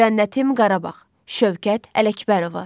Cənnətim Qarabağ, Şövkət Ələkbərova.